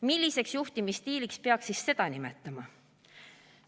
Milliseks juhtimisstiiliks peaks siis seda nimetama?